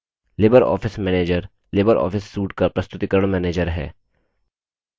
Libre Office manager Libre Office suite का प्रस्तुतिकरण manager है